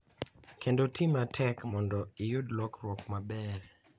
Kendo ti matek mondo iyud lokruok maber.